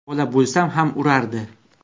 Bola bo‘lsam ham urardi.